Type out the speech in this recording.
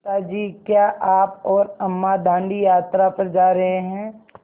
पिता जी क्या आप और अम्मा दाँडी यात्रा पर जा रहे हैं